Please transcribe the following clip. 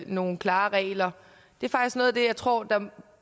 nogle klare regler det er faktisk noget af det jeg tror